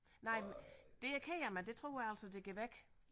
Nej det er jeg ked af men det tror jeg altså det går væk